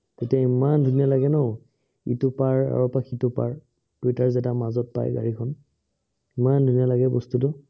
তেতিয়া ইমান ধুনীয়া লাগে ন, ইটো পাৰ আৰু ইটো পাৰ দুইটাই যেতিয়া মাজত পাই গাড়ীখন ইমান ধুনীয়া লাগে বস্তুটো।